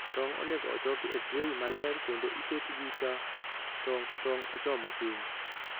Tong' onego ochoki e tray maler kendo iketgi ka tong' motong' ochomo piny.